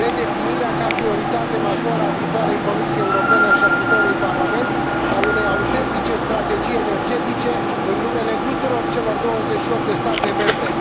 redefinirea, ca prioritate majoră a viitoarei Comisii Europene și a viitorului Parlament, a unei autentice strategii energetice, în numele tuturor celor 28 de state membre